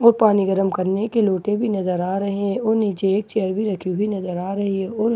और पानी गर्म करने के लोटे भी नजर आ रहे हैं और नीचे एक तेल भी रखी भी नजर आ रही है और--